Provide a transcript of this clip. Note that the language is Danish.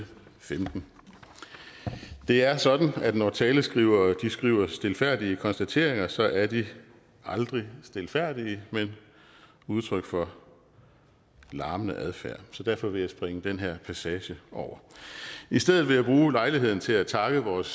femten det er sådan at når taleskrivere skriver stilfærdige konstateringer så er de aldrig stilfærdige men udtryk for larmende adfærd så derfor vil jeg springe denne passage over i stedet vil jeg bruge lejligheden til at takke vores